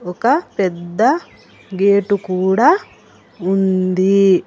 ఒక పెద్ద గేటు కూడా ఉంది.